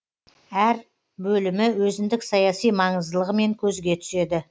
әр бөлімі өзіндік саяси маңыздылығымен көзге түседі